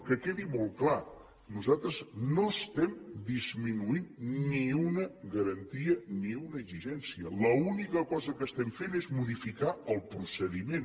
que quedi molt clar nosaltres no estem disminuint ni una garantia ni una exigència l’única cosa que estem fent és modificar el procediment